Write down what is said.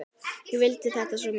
Ég vildi þetta svo mikið.